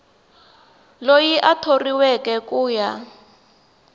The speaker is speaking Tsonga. loyi a thoriweke ku ya